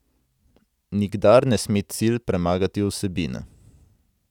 Nikdar ne sme cilj premagati vsebine.